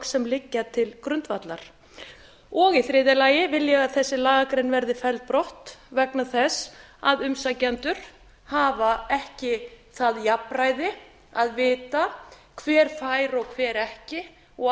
sem liggja til grundvallar í þriðja lagi vil ég að þessi lagagrein verði felld brott vegna þess að umsækjendur hafa ekki það jafnræði að vita hver fær og hver fær ekki og á